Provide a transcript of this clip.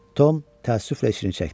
Tom təəssüflə içini çəkdi.